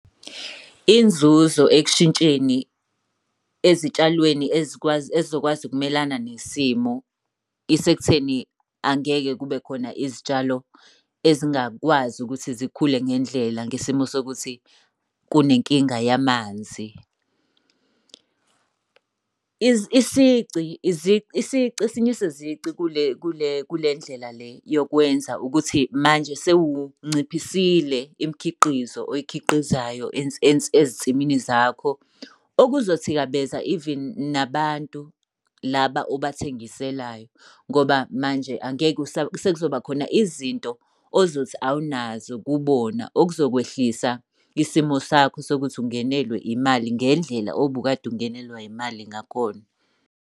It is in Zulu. Inzuzo ekushintsheni ezitshalweni ezikwazi ey'zokwazi ukumelana nesimo, isekutheni angeke kube khona izitshalo ezingakwazi ukuthi zikhule ngendlela ngesimo sokuthi kunenkinga yamanzi. Esinye sezici kule ndlela le yokwenza ukuthi manje sewunciphisile imikhiqizo oyikhiqizayo ezinsimini zakho. Okuzothikabeza even nabantu laba obathengiselayo ngoba manje angeke , sekuzoba khona izinto ozothi awunazo kubona, okuzokwehlisa isimo sakho sokuthi ungenelwe imali ngendlela obukade ungenelwa imali ngakhona.